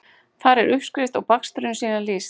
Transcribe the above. Þar er uppskrift og bakstrinum síðan lýst.